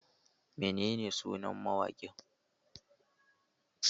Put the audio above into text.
Menene sunan mawaƙin?